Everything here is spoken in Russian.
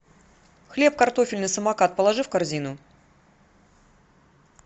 хлеб картофельный самокат положи в корзину